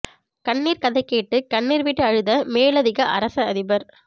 கண்ணீர் கதை கேட்டு கண்ணீர் விட்டு அழுத மேலதிக அரச அதிபர்